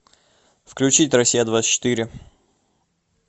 включить россия двадцать четыре